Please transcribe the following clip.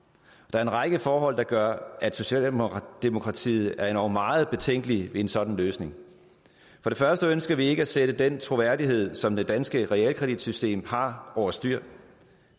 er en række forhold der gør at socialdemokratiet er endog meget betænkelig ved en sådan løsning for det første ønsker vi ikke at sætte den troværdighed som det danske realkreditsystem har over styr